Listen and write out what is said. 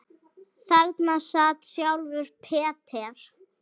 Þarna sat sjálfur Peter